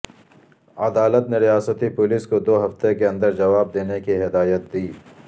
عدالت نے ریاستی پولیس کو دو ہفتہ کے اندر جواب دینے کی ہدایت دی